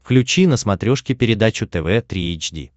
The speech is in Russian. включи на смотрешке передачу тв три эйч ди